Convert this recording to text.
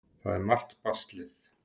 Það er margt baslið.